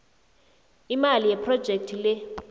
imali yephrojekhthi le